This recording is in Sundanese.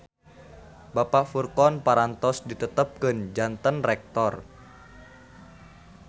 Bapak Furqon parantos ditetepkeun janten Rektor